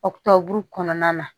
Ɔktɔburu kɔnɔna na